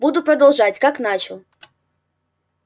буду продолжать как начал